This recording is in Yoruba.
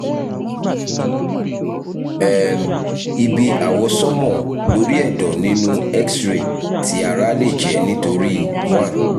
um ibi awọsanma lori ẹdọ ninu x-ray ti ara le jẹ nitori 1